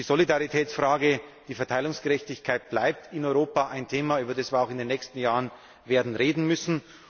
Die Solidaritätsfrage, die Verteilungsgerechtigkeit bleibt in Europa ein Thema, über das wir auch in den nächsten Jahren werden reden müssen.